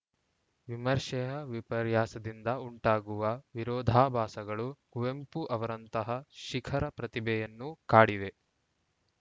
ವಿಮರ್ಶೆಯ ವಿಪರ್ಯಾಸದಿಂದ ಉಂಟಾಗುವ ವಿರೋಧಾಭಾಸಗಳು ಕುವೆಂಪು ಅವರಂತಹ ಶಿಖರ ಪ್ರತಿಭೆಯನ್ನೂ ಕಾಡಿವೆ